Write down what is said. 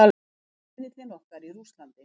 Riðillinn okkar í Rússlandi.